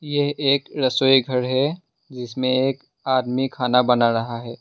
ये एक रसोई घर है जिसमें एक आदमी खाना बना रहा है।